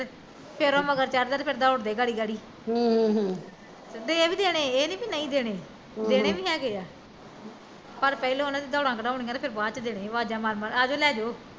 ਫੇਰ ਉਹ ਮਗਰ ਚੜਦਾ ਤੇ ਫਿਰ ਦੋੜਦੇ ਗਾੜੀ ਗਾੜੀ ਹਮ ਦੇ ਵੀ ਦੇਣੇ ਏਹ ਨੀ ਵੀ ਨਹੀਂ ਦੇਣੇ, ਦੇਣੇ ਵੀ ਹੈਗੇ ਆ ਪਰ ਪਹਿਲਾਂ ਉਹਨਾਂ ਦੀ ਦੋੜਾ ਕਢਾਉਣੀਆਂ ਤੇ ਫਿਰ ਬਾਦ ਚ ਦੇਣੇ ਆਵਾਜ਼ਾਂ ਮਾਰ ਮਾਰ ਅਜੋ ਲੇਜੋ